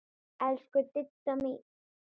Elsku Didda mín.